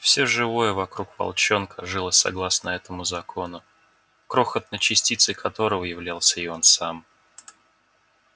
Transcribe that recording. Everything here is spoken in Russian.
всё живое вокруг волчонка жило согласно этому закону крохотной частицей которого являлся и он сам